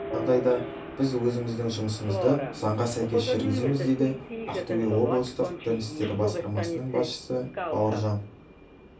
жағдайда біз өзіміздің жұмысымызды заңға сәйкес жүргіземіз дейді ақтөбе облыстық дін істері басқармасының басшысы бауыржан